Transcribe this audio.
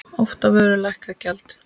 Oft á vöru lækkað gjald.